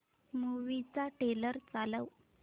movie चा trailer चालव